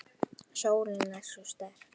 Sólin er svo sterk.